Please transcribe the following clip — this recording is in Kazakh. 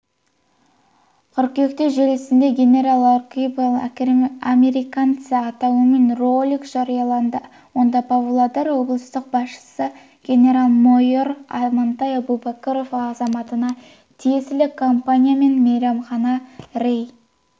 қыркүйекте желісінде генерал огрибал американца атауымен ролик жарияланды онда павлодар облыстық басшысы генерал-майор амантай әбубәкіров азаматына тиесілі компания мен мейрамхананы рей